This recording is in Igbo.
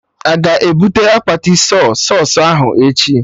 Aga ebute akpati Sọy sausụ ahụ echi?